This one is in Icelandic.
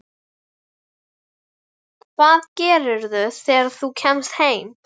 Hvað gerirðu þegar þú kemst heim?